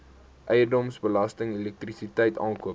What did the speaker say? eiendomsbelasting elektrisiteit aankope